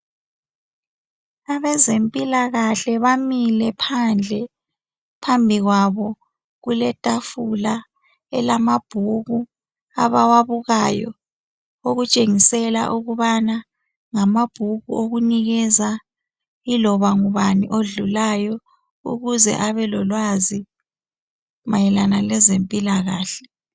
Abezempilakahle bamile phandle. Phambikwabo kuletafula elamabhuku abawabukayo okutshingisela ukubana ngamabhuku owokunikeza, iloba ngubani odlulayo, ukuze abelolwazi mayelana lezempilakahle.